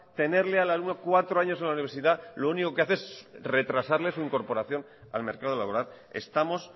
tenerle al alumno cuatro años en la universidad lo único que hace es retrasarle su incorporación al mercado laboral estamos